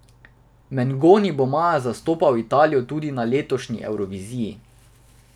Mengoni bo maja zastopal Italijo tudi na letošnji Evroviziji.